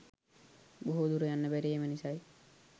බොහෝ දුර යන්න බැරි එම නිසයි